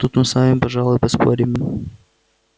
тут мы с вами пожалуй поспорим